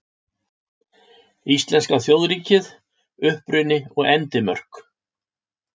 Íslenska þjóðríkið: Uppruni og endimörk.